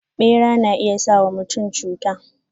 Bera na iya sa wa mutum cuta.